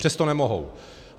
Přesto nemohou.